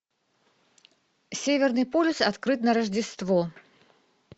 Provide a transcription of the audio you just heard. северный полюс открыт на рождество